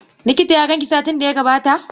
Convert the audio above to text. Likita ya ganki satin da ya gabata?